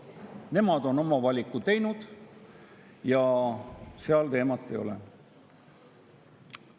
Nemad on oma valiku teinud ja seal teemat ei ole.